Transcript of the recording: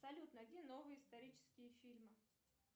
салют найди новые исторические фильмы